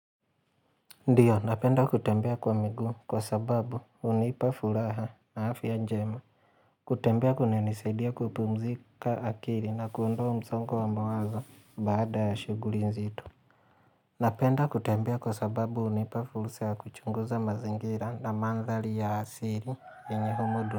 Ndio napenda kutembea kwa miguu kwa sababu hunipa furaha na afya njema kutembea kunanisaidia kupumzika akili na kuondoa msongo wa mawazo baada ya shughuli nzito. Napenda kutembea kwa sababu hunipa furusa ya kuchunguza mazingira na mandhari ya asili yenye humudu.